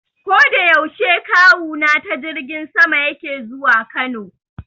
Koda yaushe Kawuna ta jirgin sama yake zuwa Kano.